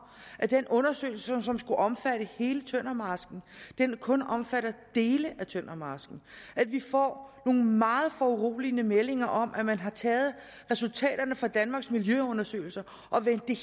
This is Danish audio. at den undersøgelse som skulle omfatte hele tøndermarsken kun omfatter dele af tøndermarsken vi får nogle meget foruroligende meldinger om at man har taget resultaterne fra danmarks miljøundersøgelser og vendt det